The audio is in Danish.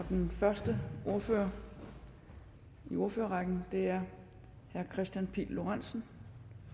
den første ordfører i ordførerrækken er herre kristian pihl lorentzen